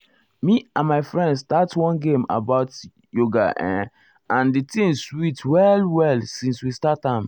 me and my friend start one game about[um]yoga and si thing sweet well well since we start am.